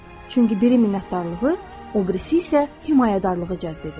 Çünki biri minnətdarlığı, obirisi isə himayədarlığı cəzb edir.